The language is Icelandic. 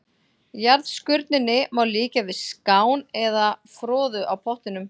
Jarðskurninni má líkja við skán eða froðu á pottinum.